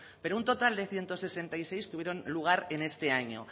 pero un total de ciento sesenta y seis tuvieron lugar en este año